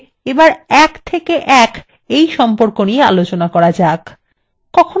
এবং পরিশেষে এক থেকে এক সম্পর্ক নিয়ে আলোচনা করা যাক